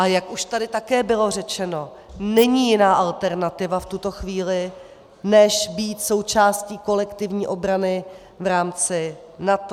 A jak už tady bylo také řečeno, není jiná alternativa v tuto chvíli než být součástí kolektivní obrany v rámci NATO.